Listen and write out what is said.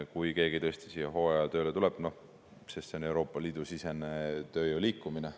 Kui keegi tõesti hooajatööle tuleb, siis see on Euroopa Liidu sisene tööjõu liikumine.